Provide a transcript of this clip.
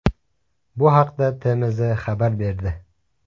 Bu haqda TMZ xabar berdi .